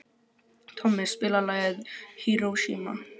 Tommi, spilaðu lagið „Hiroshima“.